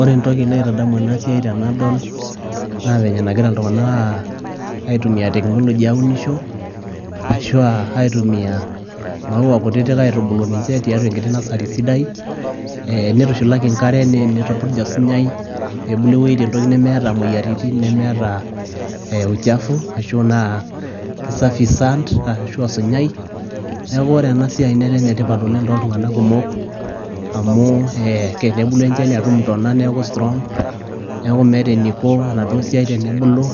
Ore entoki naitadamu enasiai tenadol, na venye nagira iltung'anak aitumia technology aunisho, ashua aitumia mauwa kutitik aitubulu ninche tiatua enkiti nasari sidai, nitushulaki nkare nitupurj osinyai, pebulu entoki tewoi nemeeta moyiaritin, nemeeta uchafu, ashu naa kisafi sand ashu osinyai. Neeku ore enasiai netaa enetipat oleng toltung'anak kumok, amu tenebulu enchani atum intona neeku strong, neeku meeta eniko enaduo siai tenebulu,